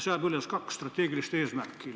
Seatakse üles kaks strateegilist eesmärki.